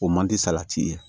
O man di salati ye